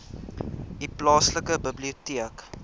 u plaaslike biblioteek